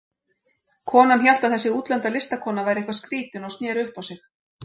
Konan hélt að þessi útlenda listakona væri eitthvað skrýtin og sneri upp á sig.